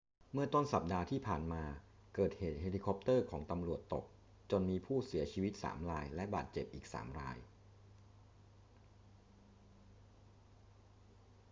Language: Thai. เมื่อต้นสัปดาห์ที่ผ่านมา เกิดเหตุเฮลิคอปเตอร์ของตำรวจตกจนมีผู้เสียชีวิต 3 รายและบาดเจ็บอีก 3 ราย